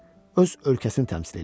Öz ölkəsini təmsil eləyirdi.